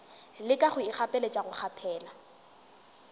leka go ikgapeletša go kgaphela